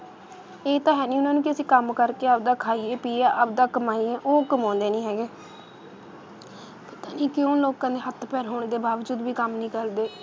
ਇਹ ਤਾਂ ਹੈ ਨਹੀਂ, ਉਹਨਾਂ ਨੂੰ ਕਿ ਅਸੀਂ ਕੰਮ ਕਰਕੇ ਆਪਦਾ ਖਾਈਏ ਪੀਈਏ ਆਪਦਾ ਕਮਾਈਏ ਉਹ ਕਮਾਉਂਦੇ ਨਹੀਂ ਹੈਗੇ ਇਹ ਕਿਉਂ ਲੋਕਾਂ ਦੇ ਹੱਥ ਪੈਰ ਹੋਣ ਦੇ ਬਾਵਜੂਦ ਵੀ ਕੰਮ ਨਹੀਂ ਕਰਦੇ,